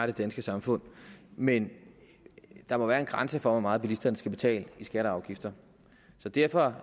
det danske samfund men der må være en grænse for hvor meget bilisterne skal betale i skatter og afgifter derfor